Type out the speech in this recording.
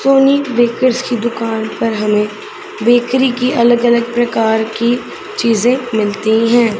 चोनी bakers की दुकान पर हमें बेकरी की अलग अलग प्रकार की चीजें मिलती हैं।